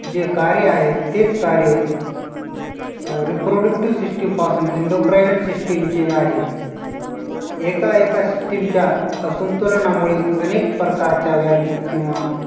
जे कार्य आहे तेच कार्य अं reproductive system पासून indo prinal system चे जे आहे एका एका system च्या असंतुलनामुळे अनेक प्रकारच्या व्याधी किंवा